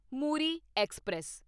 Muri express